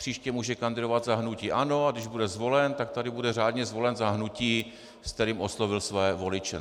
Příště může kandidovat za hnutí ANO, a když bude zvolen, tak tady bude řádně zvolen za hnutí, s kterým oslovil své voliče.